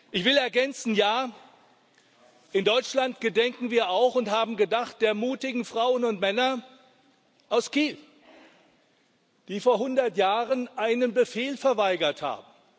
Ich will ergänzen Ja, in Deutschland gedenken wir auch und haben gedacht der mutigen Frauen und Männer aus Kiel die vor hundert Jahren einen Befehl verweigert haben.